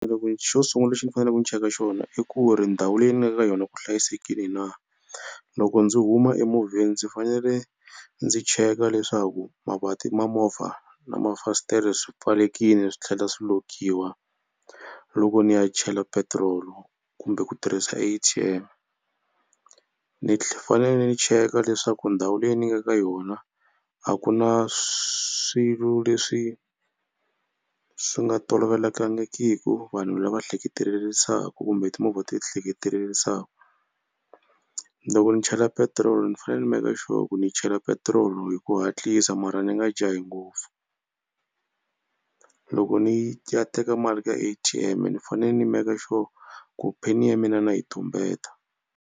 xo sungula lexi ni faneleke ni cheka xona i ku ri ndhawu leyi ni nga ka yona ku hlayisekile na. Loko ndzi huma emovheni ndzi fanele ndzi cheka leswaku mavanti ma movha na mafasitere swi pfalelekile swi tlhela swi lock-iwa loko ni ya chela petirolo kumbe ku tirhisa A_T_M. Ni fanele ni cheka leswaku ndhawu leyi ni nga ka yona a ku na swilo leswi swi nga swi nga tolovelekangiki vanhu lava hleketelerisaku kumbe timovha ti hleketelerisaku. Loko ni chela petiroli ni fanele ni make sure ku ni yi chela petiroli hi ku hatlisa mara ni nga jahi ngopfu. Loko ni ya teka mali ka A_T_M ni fanele ni make sure ku pin ya mina na yi tumbeta.